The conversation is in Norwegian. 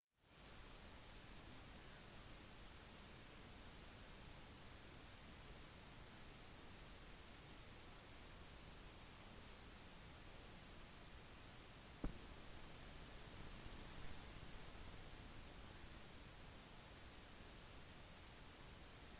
disse arrangementene varer normalt alt fra tre til seks måneder og avholdes på områder med minst 50 hektar